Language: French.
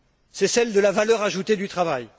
c'est celle de la valeur ajoutée du travail.